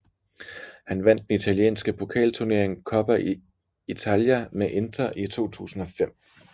Han vandt den italienske pokalturnering Coppa Italia med Inter i 2005